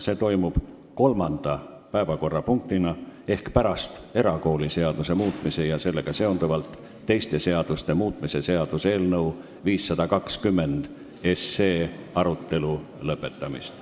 See toimub kolmanda päevakorrapunktina ehk pärast erakooliseaduse muutmise ja sellega seonduvalt teiste seaduste muutmise seaduse eelnõu 520 arutelu lõpetamist.